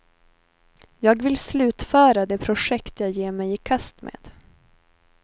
Jag vill slutföra de projekt jag ger mig i kast med.